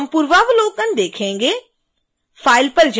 अब हम पूर्वावलोकन देखेंगे